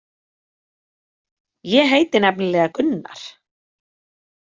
Ég heiti nefnilega Gunnar.